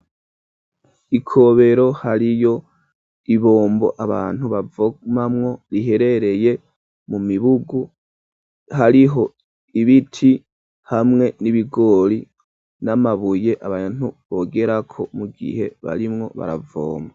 Ikobero hariyo ibombo abantu bavomamwo riherereye mu mibugu hariho ibiti hamwe n'ibigoli n'amabuye abantu bogerako mu gihe barimwo baravomba.